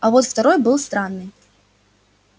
а вот второй был странный